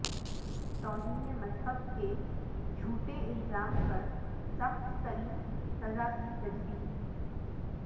توہین مذہب کے جھوٹے الزام پر سخت ترین سزا کی تجویز